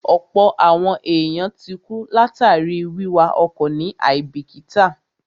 Ọ̀pọ̀ àwọn èèyàn ti kú látàríi wíwa ọkọ̀ ní àíbìkítà